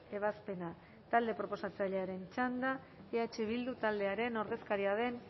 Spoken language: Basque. ebazpena talde proposatzailearen txanda eh bildu taldearen ordezkaria den